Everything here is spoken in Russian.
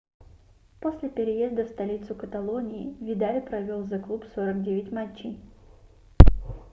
после переезда в столицу каталонии видаль провел за клуб 49 матчей